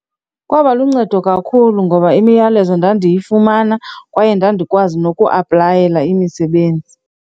Kwaba luncedo kakhulu ngoba imiyalezo ndandiyifumana kwaye ndandikwazi nokuaplayela imisebenzi.